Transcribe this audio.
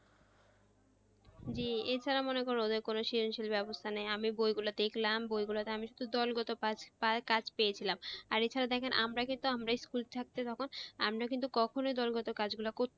জি এছাড়া মনে করো যে কোনো বেবস্থা মানে আমি বই গুলা দেখলাম বই গুলোতে দলগত কাজ পেয়েছিলাম আর এখানে দেখেন আমরা কিন্তু আমরাই school ছাড়তে তখন আমরা কিন্তু কখনোই এই দলগত কাজ গুলা করতাম,